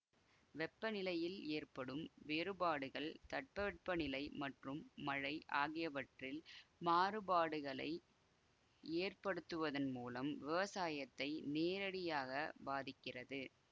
வெப்பநிலையில் ஏற்படும் வேறுபாடுகள் தட்பவெட்ப நிலை மற்றும் மழை ஆகியவற்றில் மாறுபாடுகளை ஏற்படுத்துவதன் மூலம் விவசாயத்தை நேரடியாக பாதிக்கிறது